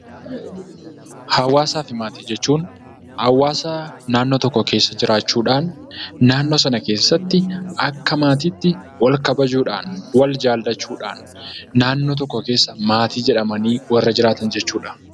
Hawaasaaf maatii jechuun hawaasaa naannoo tokko keessa jiraachuudhaan naannoo sana keessatti akka maatiitti wal kabajuudhaan wal jaalachuudhaan naannoo tokko keessa maatii jedhamanii warra jiraatan jechuudha.